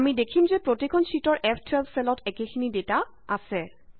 আমি দেখিম যে প্ৰতিখন শ্যিটৰ ফ12 চেলত একেখিনি ডেটা আছে